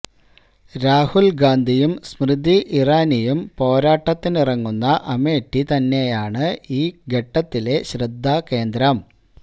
രാഹുല് ഗാന്ധിയും സ്മൃതി ഇറാനിയും പോരാട്ടത്തിനിറങ്ങുന്ന അമേഠി തന്നെയാണ് ഈ ഘട്ടത്തിലെ ശ്രദ്ധാകേന്ദ്രം